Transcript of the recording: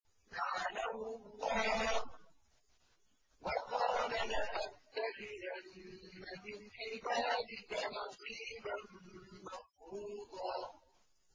لَّعَنَهُ اللَّهُ ۘ وَقَالَ لَأَتَّخِذَنَّ مِنْ عِبَادِكَ نَصِيبًا مَّفْرُوضًا